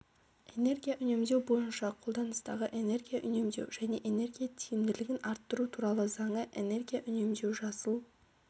энергия үнемдеу бойынша қолданыстағы энергия үнемдеу және энергия тиімділігін арттыру туралы заңы энергия үнемдеу жасыл